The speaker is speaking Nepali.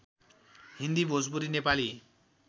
हिन्दी भोजपुरी नेपाली